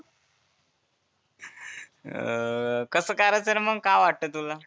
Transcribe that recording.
अं कसं करायचं रे मग काय वाटतं तुला?